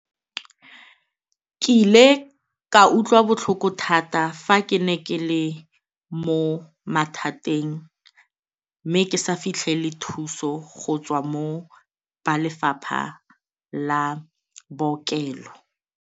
Ke ile ka utlwa botlhoko thata fa ke ne ke le mo mathateng mme ke sa fitlhele thuso go tswa mo ba lefapha la bookelo.